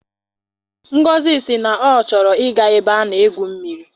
Ngozi sị na ọ chọrọ I ga ebe a na-egwu mmiri.